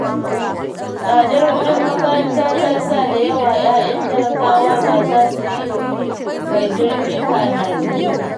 Tsadar kuɗin makaranta Ta sa da yawa 'ya'yan talakawa ba za su yi ilimi mai zurfi ba a Najeriya